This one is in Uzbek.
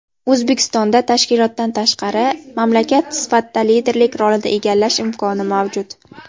O‘zbekistonda tashkilotdan tashqari mamlakat sifatida liderlik rolini egallash imkoni mavjud.